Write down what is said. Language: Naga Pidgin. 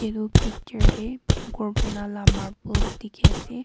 etu picture dae ghor banala marbles dekhey ase.